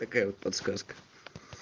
такая вот подсказка